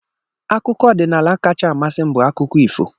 Akụkọ ọdịnala kacha amasị m bụ akụkọ ifo